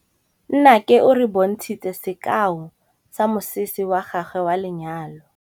Nnake o re bontshitse sekaô sa mosese wa gagwe wa lenyalo.